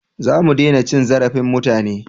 Za mu dena cin zarafin mutane